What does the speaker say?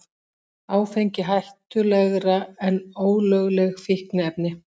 Áfengi hættulegra en ólögleg fíkniefni